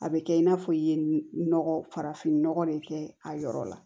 A bɛ kɛ i n'a fɔ i ye nɔgɔ farafinnɔgɔ de kɛ a yɔrɔ la